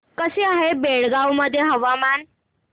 कसे आहे बेळगाव मध्ये हवामान